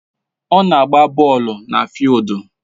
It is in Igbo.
Ọ na-agba bọọlụ na fịịldu